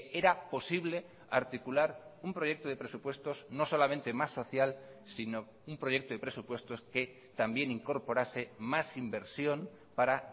era posible articular un proyecto de presupuestos no solamente más social sino un proyecto de presupuestos que también incorporase más inversión para